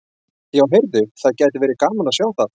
Já, heyrðu. það gæti verið gaman að sjá það!